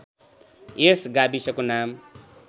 यस गाविसको नाम